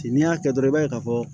N'i y'a kɛ dɔrɔn i b'a ye ka fɔ